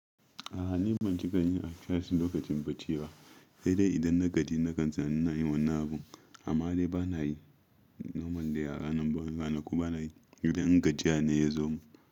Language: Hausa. A'a ni ban ci kayin a charci lokacin bacci ba, sai dai idan na gani na gani zan yi wannan abun. Amma dai ba na yi normal de a ranar bana kuma ba na yi idan gajiya ne ya zo mun.